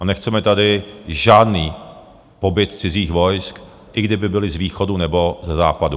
A nechceme tady žádný pobyt cizích vojsk, i kdyby byla z východu, nebo ze západu.